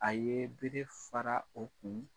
A ye bere fara o kun